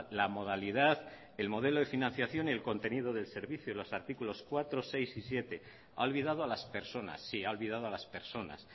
la modalidad el modelo de financiación y el contenido del servicio los artículos cuatro seis y siete ha olvidado a las personas sí ha olvidado a las personas